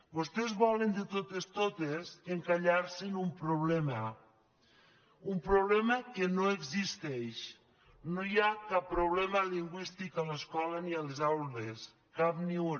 vostès volen de totes totes encallar se en un problema un problema que no existeix no hi ha cap problema lingüístic a l’escola ni a les aules cap ni un